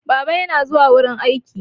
Baba yana zuwa wurin aiki.